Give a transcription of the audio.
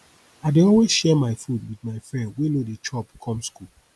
i dey always share my food wit my friend wey no dey chop come skool